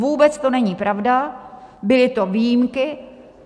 Vůbec to není pravda, byly to výjimky.